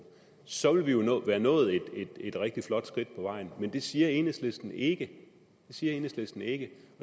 så ville vi jo være nået et rigtig flot skridt på vejen men det siger enhedslisten ikke det siger enhedslisten ikke